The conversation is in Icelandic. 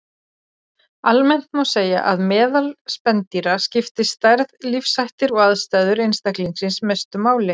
Almennt má segja að meðal spendýra skipta stærð, lífshættir og aðstæður einstaklingsins mestu máli.